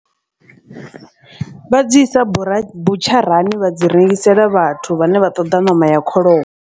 Vha dzi isa bura butsharani vha dzi rengisela vhathu vhane vha ṱoḓa ṋama ya kholomo.